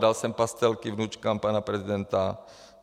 Dal jsem pastelky vnučkám pana prezidenta.